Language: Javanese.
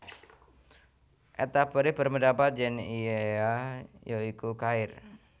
At Tabari berpendapat yèn ia ya iku Khair